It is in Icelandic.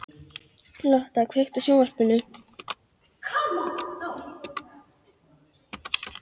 Lotta, kveiktu á sjónvarpinu.